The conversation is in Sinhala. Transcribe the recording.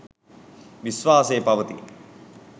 විශ්වාසයේ පවතී.